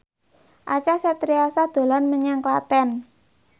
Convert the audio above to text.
Acha Septriasa dolan menyang Klaten